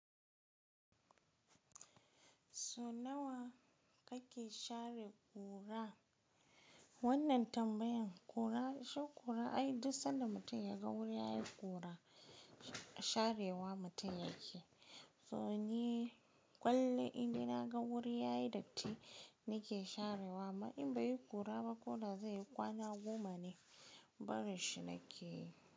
So nawa kake share kura? Wannan tambayan kura, shi kura ai duk sanda mutum ya ga wuri yayi kura sharewa mutum yake. So ni ƙullun in dai na ga wuri yayi datti, ni ke sharewa. Amma in bai kura ba ko da zai kwana goma ne barin shi na ke yi.